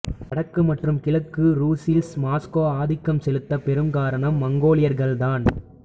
வடக்கு மற்றும் கிழக்கு ருஸ்ஸில் மாஸ்கோ ஆதிக்கம் செலுத்த பெரும் காரணம் மங்கோலியர்கள் தான்